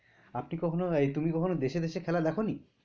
আপনি কখনো এই তুমি কখনো দেশে দেশে খেলা দেখো নি?